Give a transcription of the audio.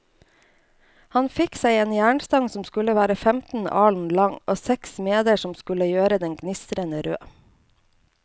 Han fikk seg en jernstang som skulle være femten alen lang, og seks smeder som skulle gjøre den gnistrende rød.